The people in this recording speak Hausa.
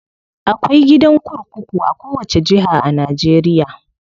Akwai gidan kurkuku a kowace jiha a Najeriya.